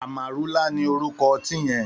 Àmárúlá ni órúkò òtin yèn